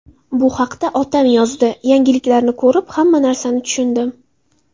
Bu haqida otam yozdi, yangiliklarni ko‘rib, hamma narsani tushundim.